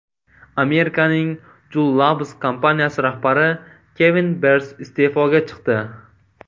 Amerikaning Juul Labs kompaniyasi rahbari Kevin Berns iste’foga chiqdi.